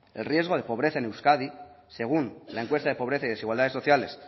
el riesgo de pobreza en euskadi según la encuesta de pobreza y desigualdades sociales